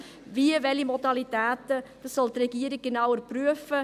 Wie und welche Modalitäten – dies soll die Regierung genauer prüfen.